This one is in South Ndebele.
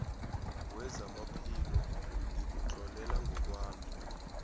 wezamaphilo ngikutlolela ngokwami